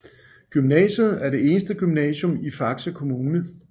Gymnasiet er det eneste gymnasium i Faxe Kommune